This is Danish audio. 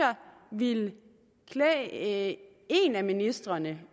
ville klæde en af ministrene